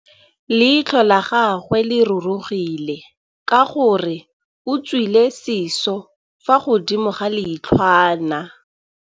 Leitlhô la gagwe le rurugile ka gore o tswile sisô fa godimo ga leitlhwana.